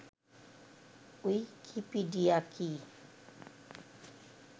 Wikipedia কি